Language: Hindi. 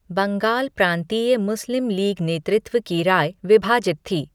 बंगाल प्रांतीय मुस्लिम लीग नेतृत्व की राय विभाजित थी।